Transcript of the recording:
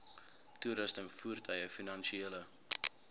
toerusting voertuie finansiële